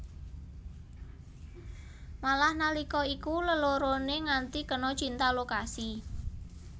Malah nalika iku leloroné nganti kena cinta lokasi